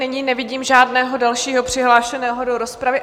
Nyní nevidím žádného dalšího přihlášeného do rozpravy.